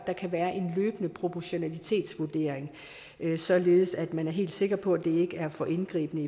en løbende proportionalitetsvurdering således at man er helt sikker på at det ikke er for indgribende